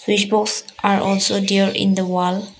Switch box are also there in the wall.